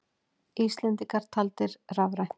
Íslendingar taldir rafrænt